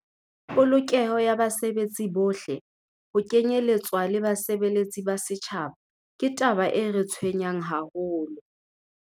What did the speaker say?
"Polokeho ya basebetsi bohle, ho kenyeletswa le basebeletsi ba setjhaba, ke taba e re tshwenyang haholo."